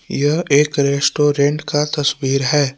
यह एक रेस्टोरेंट का तस्वीर है।